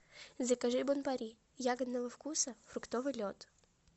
закажи бон пари ягодного вкуса фруктовый лед